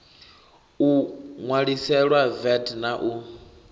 o ṋwaliselwa vat na u